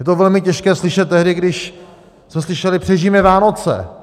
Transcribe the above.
Je to velmi těžké slyšet tehdy, když jsme slyšeli: Přežijme Vánoce!